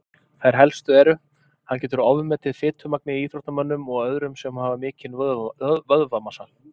Þær helstu eru: Hann getur ofmetið fitumagnið í íþróttamönnum og öðrum sem hafa mikinn vöðvamassa.